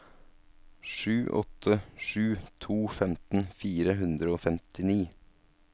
sju åtte sju to femten fire hundre og femtini